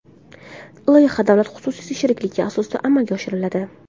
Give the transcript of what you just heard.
Loyiha davlat-xususiy sheriklik asosida amalga oshiriladi.